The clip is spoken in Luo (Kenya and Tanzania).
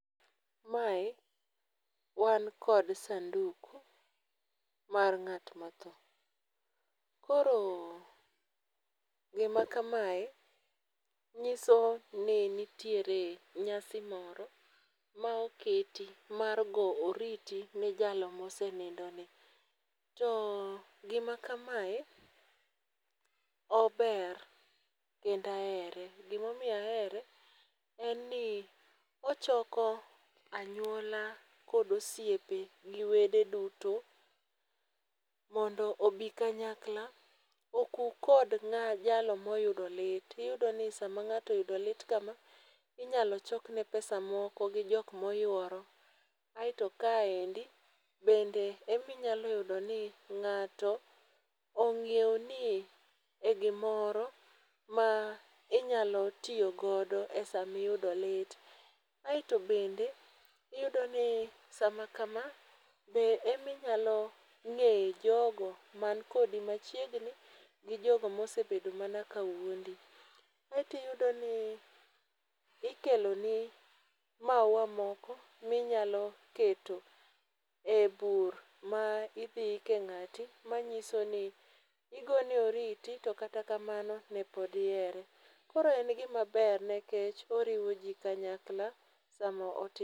Mae wan kod sanduku mar ng'at ma othoo koro gi ma kamae ng'iso ni nitiere nyasi moro ma oketi mar go oriti ne jalo ma osenindo ni. To gi ma kamae ober bende ahere, gi ma omiyo ahere en ni ochoko anyuola kod osiepe gi wede duto mondo obi kanyakla okuu kod ng'ama jalo ma oyudo lit. Iyudo ni saa ma ng'ato oyudo lit kama inyalo chok ne pesa moko gi jok ma oyuoro. Aito kae bende be inyalo yudo ni ng'ato ng'eyo ni e gi moro ma inyalo tiyo godo e saa ma iyudo lit. Aito bende iyudo ni saa ma kama be ema inyalo ng'eye jogo man kodi machiegni gi jogo ma osebedo mana ka wuondi. Aito iyudo ni ikelo ni mauwa moko mi inyalo keto e bur ma idhi ik e ngati ma ng'iso igone orite to kata kamano ne pod ihere. Koro en gi ma ber nikech oriwo ji kanyakla saa ma otimre.